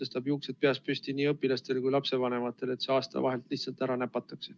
See tõstab juuksed peas püsti nii õpilastel kui ka lapsevanematel, kui see aasta vahelt lihtsalt ära näpatakse.